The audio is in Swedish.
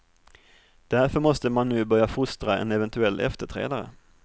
Därför måste man nu börja fostra en eventuell efterträdare.